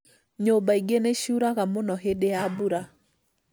Nyũmba ingĩ nĩciuraga muno hĩndĩ ya mbura